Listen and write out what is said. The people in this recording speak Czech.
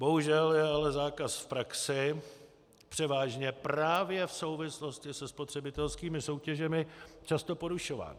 Bohužel je ale zákaz v praxi převážně právě v souvislosti se spotřebitelskými soutěžemi často porušován.